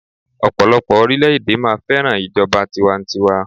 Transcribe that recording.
ọpọlọpọ orilẹ ede máa fẹràn ijoba tiwantiwa